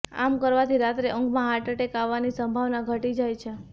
આમ કરવાથી રાત્રે ઊંઘમાં હાર્ટ એટેક આવવાની સંભાવના ઘટી જાય છે